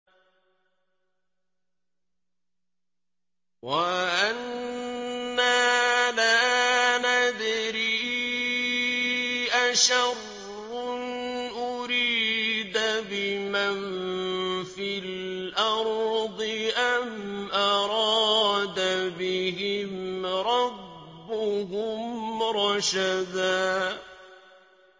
وَأَنَّا لَا نَدْرِي أَشَرٌّ أُرِيدَ بِمَن فِي الْأَرْضِ أَمْ أَرَادَ بِهِمْ رَبُّهُمْ رَشَدًا